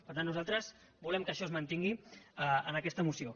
per tant nosaltres volem que això es mantingui en aquesta moció